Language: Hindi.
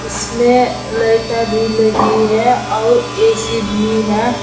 इसमें लइटा भी लगीं है और ए_सी भी है।